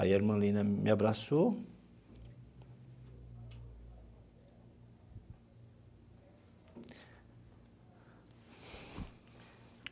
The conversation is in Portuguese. Aí a irmã Lina me abraçou.